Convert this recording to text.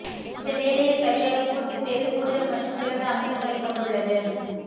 இந்த வேலையை சரியாகப் பூர்த்தி செய்து கூடுதல் மற்றும் சிறந்த அம்சங்களைக் கொண்டுள்ளது